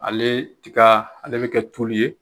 Ale tiga ale be kɛ tulu ye